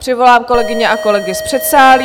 Přivolám kolegyně a kolegy z předsálí.